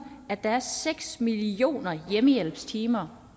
at der er seks millioner hjemmehjælpstimer